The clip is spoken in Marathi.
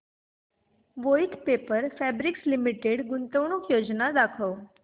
वोइथ पेपर फैब्रिक्स लिमिटेड गुंतवणूक योजना दाखव